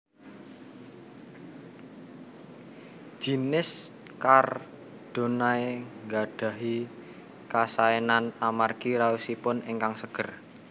Jinis Chardonnay nggadhahi kasaénan amargi raosipun ingkang seger